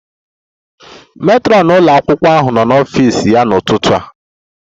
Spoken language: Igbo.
Matron ụlọ akwụkwọ ahụ nọ n'ọfịs ya n'ụtụtụ a